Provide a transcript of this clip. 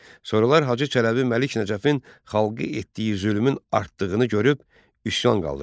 Sonralar Hacı Çələbi Məlik Nəcəfin xalqı etdiyi zülmün artdığını görüb üsyan qaldırdı